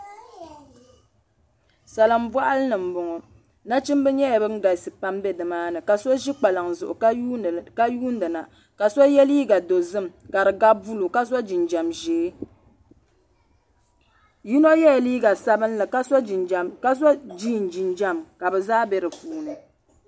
Salimbɔɣili ni m-bɔŋɔ nachimba nyɛla ban galisi pam be nimaani ka so ʒi kpalaŋ zuɣu ka yuuni ni na ka so ye liiga dozim ka di gabi buluu ka so jinjam ʒee yino yela liiga sabinli ka so jiin jinjam ka bɛ zaa be di puuni.